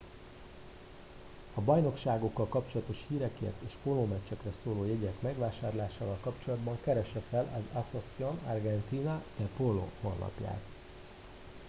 a bajnokságokkal kapcsolatos hírekért és a pólómeccsekre szóló jegyek megvásárlásával kapcsolatban keresse fel az asociacion argentina de polo honlapját